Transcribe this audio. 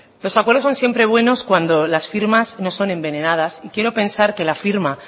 los acuerdos son siempre buenos cuando las firmas no son envenenadas y quiero pensar que la firma